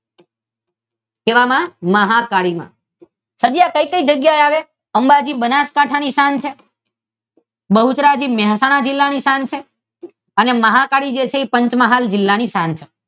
કેવા માં મહાકાળી માં અને એ કઈ કઈ જગ્યાએ આવે અંબાજી બનાસકાંઠા ની શાન છે, બહુચરાજી મહેસાણા જિલ્લા ની શાન છે અને મહા કાળી છે એ પંચમહાલ જિલ્લા ની શાન છે.